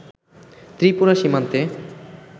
ত্রিপুরা সীমান্তে